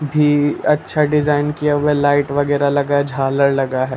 भी अच्छा डिजाइन किया हुआ है लाइट वगैरह लगा है झालर लगा है ।